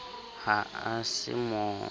ha a se a mo